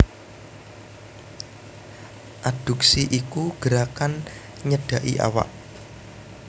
Adduksi iku gerakan nyedhaki awak